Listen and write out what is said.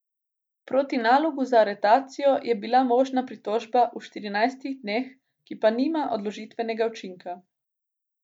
Proti nalogu za aretacijo je bila možna pritožba v štirinajstih dneh, ki pa nima odložitvenega učinka.